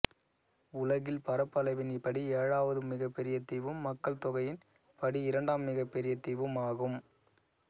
உலகில் பரப்பளவின் படி ஏழாவது மிகப்பெரிய தீவும் மக்கள் தொகையின் படி இரண்டாம் மிகப்பெரிய தீவும் ஆகும்